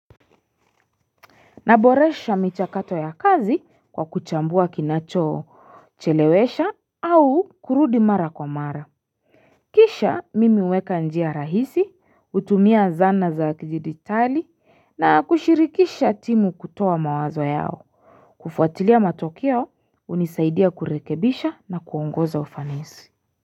Naboresha micha kato ya kazi kwa kuchambua kinacho chelewesha au kurudi mara kwa mara. Kisha mimi huweka njia rahisi, utumia zana za kijiditali na kushirikisha timu kutoa mawazo yao. Kufuatilia matokeo unisaidia kurekebisha na kuongoza ufanisi.